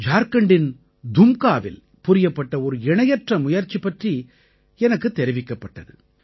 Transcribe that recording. ஜார்க்கண்டின் தும்காவில் புரியப்பட்ட ஒரு இணையற்ற முயற்சி பற்றி எனக்குத் தெரிவிக்கப்பட்டது